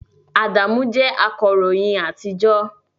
Adamu jẹ́ akọ̀ròyìn àtijọ́